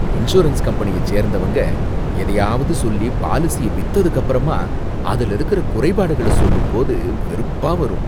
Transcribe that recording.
Insurance கம்பெனியை சேர்ந்தவங்க எதையாவது சொல்லி பாலிசிய வித்துதுக்கப்புறமா அதுல இருக்கிற குறைபாடுகள சொல்லும்போது வெறுப்பா வரும்.